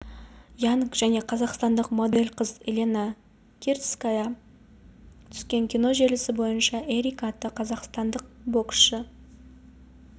янг және қазақстандық модель қыз елена крицкая түскен кино желісі бойынша эрика атты қазақстандық боксшы